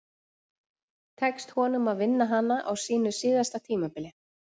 Tekst honum að vinna hana á sínu síðasta tímabili?